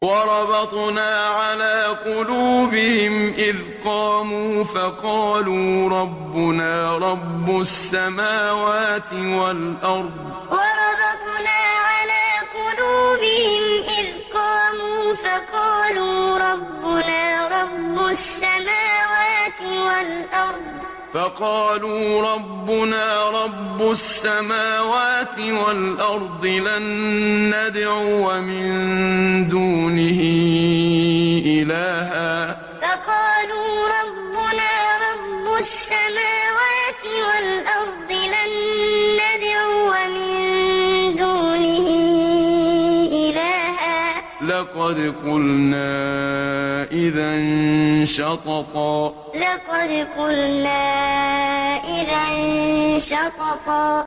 وَرَبَطْنَا عَلَىٰ قُلُوبِهِمْ إِذْ قَامُوا فَقَالُوا رَبُّنَا رَبُّ السَّمَاوَاتِ وَالْأَرْضِ لَن نَّدْعُوَ مِن دُونِهِ إِلَٰهًا ۖ لَّقَدْ قُلْنَا إِذًا شَطَطًا وَرَبَطْنَا عَلَىٰ قُلُوبِهِمْ إِذْ قَامُوا فَقَالُوا رَبُّنَا رَبُّ السَّمَاوَاتِ وَالْأَرْضِ لَن نَّدْعُوَ مِن دُونِهِ إِلَٰهًا ۖ لَّقَدْ قُلْنَا إِذًا شَطَطًا